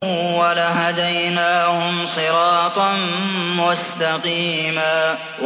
وَلَهَدَيْنَاهُمْ صِرَاطًا مُّسْتَقِيمًا